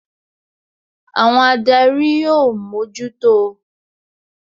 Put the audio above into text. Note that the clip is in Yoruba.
Àwọn adarí ó mójútó o